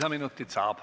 Lisaminutid saab.